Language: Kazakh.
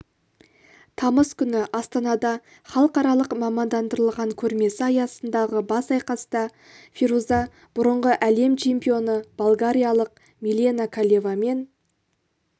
тамыз күні астанада халықаралық мамандандырылған көрмесі аясындағы бас айқаста фируза бұрынғы әлем чемпионы болгариялық милена колевамен